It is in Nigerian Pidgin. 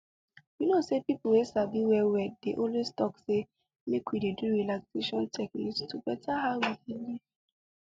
you know say people wey sabi well well dey always talk say make we dey do relaxation techniques to beta how we dey live